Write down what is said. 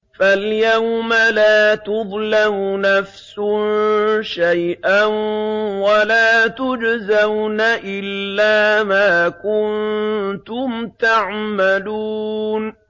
فَالْيَوْمَ لَا تُظْلَمُ نَفْسٌ شَيْئًا وَلَا تُجْزَوْنَ إِلَّا مَا كُنتُمْ تَعْمَلُونَ